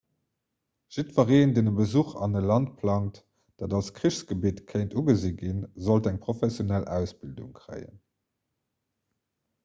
jiddwereen deen e besuch an e land plangt dat als krichsgebitt kéint ugesi ginn sollt eng professionell ausbildung kréien